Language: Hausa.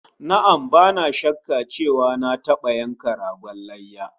Na'am, bana shakka cewa na taba yanka ragon layya